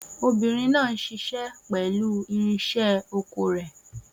Obìnrin náà ń ṣiṣẹ́ pẹ̀lú irinṣẹ́ oko rẹ̀.